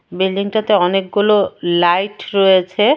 বিল্ডিংটাতে অনেকগুলো লাইট রয়েছে.